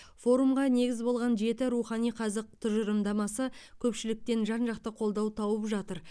форумға негіз болған жеті рухани қазық тұжырымдамасы көпшіліктен жан жақты қолдау тауып жатыр